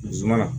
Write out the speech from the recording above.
Zumana